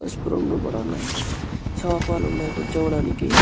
పసుపు రంగు లో కూడా ఉన్నాయ్ సోఫా లు ఉన్నాయ్ కూర్చోడానికి.